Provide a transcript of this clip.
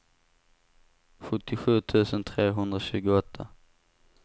sjuttiosju tusen trehundratjugoåtta